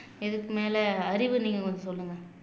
இதுக்கு மேல அறிவு நீங்க கொஞ்சம் சொல்லுங்க